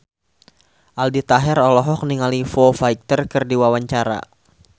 Aldi Taher olohok ningali Foo Fighter keur diwawancara